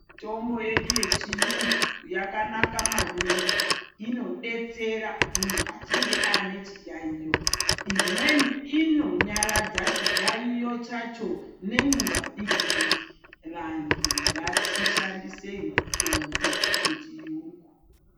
Mitombo yedu yechiyungu yakanaka maningi inodetsera muntu achinge aine chiyaiyo. Imweni inonyaradza chiyaiyo chacho nenguva diki diki. Vantu ngatishandisei mitombo yechiyungu.